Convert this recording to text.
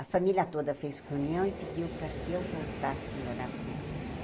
A família toda fez reunião e pediu para que eu voltasse morar com ela.